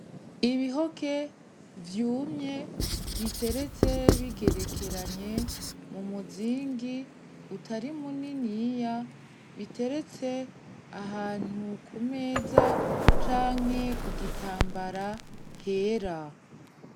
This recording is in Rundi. Ibihoke vyumye biteretse bigerekeranye mu muzingi utari muniniya biteretse ahantu ku meza canke ku gitambara hera.